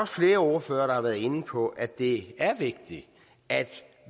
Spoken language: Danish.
flere ordførere der har været inde på at det er vigtigt at